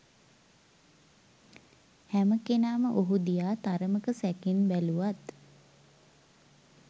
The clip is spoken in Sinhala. හැමකෙනාම ඔහු දිහා තරමක සැකෙන් බැලුවත්